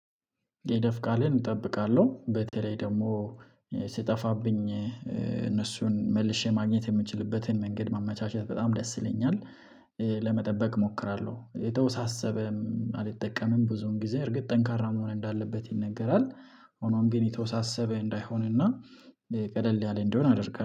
የይለፍ ቃልን እጠብቃለሁ በተለይ ደግሞ ሲጠፋብኝ እነሱን መልሼ ማግኘት የምችልበትን መንገድ ማመቻቸት በጣም ደስ ይለኛል። ለመጠበቅ እሞክራለሁ የተወሳሰበም አልጠቀምም ብዙውን ጊዜ እርግጥ ጠንካራ መሆን እንዳለበት ይነገራል። ሆኖም ግን የተወሳሰበ እንዳይሆንና ቀለል ያለ እንዲሆን አደርጋለሁ